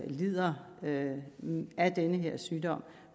lider af af denne sygdom